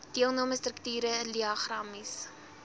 deelname strukture diagramaties